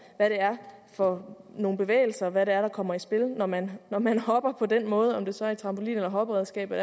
hvad det er for nogle bevægelser hvad det er der kommer i spil når man når man hopper på den måde om det så er i trampolin eller hopperedskab og